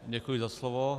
Děkuji za slovo.